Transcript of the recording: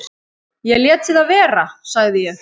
"""Ég léti það vera, sagði ég."""